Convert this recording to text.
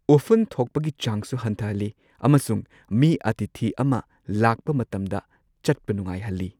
ꯎꯐꯨꯟ ꯊꯣꯛꯄꯒꯤ ꯆꯥꯡꯁꯨ ꯍꯟꯊꯍꯜꯂꯤ ꯑꯃꯁꯨꯡ ꯃꯤ ꯑꯇꯤꯊꯤ ꯑꯃ ꯂꯥꯛꯄ ꯃꯇꯝꯗ ꯆꯠꯄ ꯅꯨꯉꯥꯏꯍꯜꯂꯤ꯫